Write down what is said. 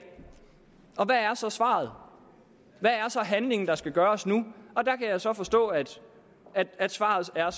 og hvad er så svaret hvad er så handlingen der skal gøres nu og der kan jeg så forstå at at svaret er